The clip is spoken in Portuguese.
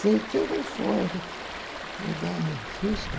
Sei que ele foi daí em Houston.